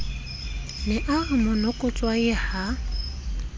ne a re monokotshwai ha